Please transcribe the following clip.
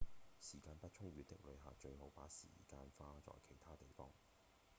時間不充裕的旅客最好把時間花在其他地方